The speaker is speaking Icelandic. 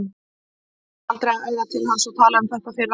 Hún færi aldrei að æða til hans og tala um þetta að fyrra bragði.